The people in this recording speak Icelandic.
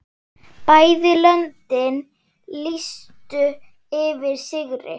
Bæði löndin lýstu yfir sigri.